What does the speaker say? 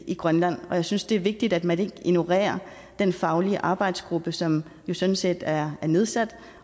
i grønland og jeg synes det er vigtigt at man ikke ignorerer den faglige arbejdsgruppe som sådan set er nedsat